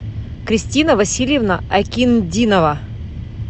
кристина васильевна акиндинова